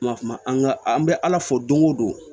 Ma kuma an ka an bɛ ala fo don o don